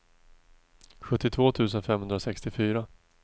sjuttiotvå tusen femhundrasextiofyra